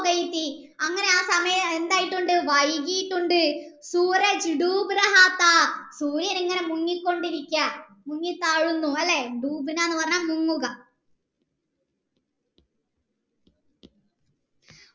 അങ്ങനെ ആ സമയം എന്തായിട്ടുണ്ട് വൈകീട്ടുണ്ട് സൂര്യൻ മുങ്ങി കൊണ്ടിരിക്കുക മുങ്ങി താഴുന്നു അല്ലെ എന്ന് പറഞ്ഞാൽ മുങ്ങൂക